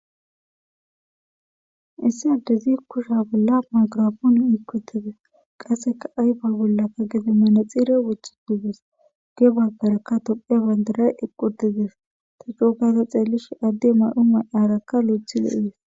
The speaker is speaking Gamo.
issi addezi kusha bolla magrafoon ikutize qasseka ayfa bollakka geze mana xire wothi tuges ge baggarakka tophe bandaray eqqutizes ta cuokaysa xeelish adde may7u may7aarakka lo7thi lo7ies